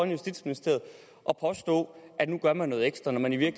justitsministeriet og påstå at nu gør man noget ekstra når man i